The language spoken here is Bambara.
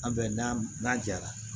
An bɛ n'a n'a jara